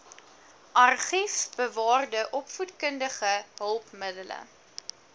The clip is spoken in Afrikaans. argiefbewaarde opvoedkundige hulpmiddele